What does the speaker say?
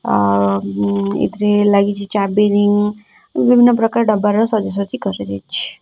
ଅ ଉମ ଏଥିରେ ଲାଗିଛି ଚାବି ରିଙ୍ଗ ବିଭିନ୍ନ ପ୍ରକାରର ଦବାର ସଜା ସଜି କରାଯାଇଛି।